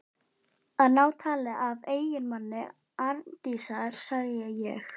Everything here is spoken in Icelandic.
Að ná tali af eiginmanni Arndísar, segi ég.